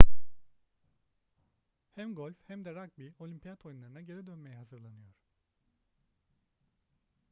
hem golf hem de ragbi olimpiyat oyunlarına geri dönmeye hazırlanıyor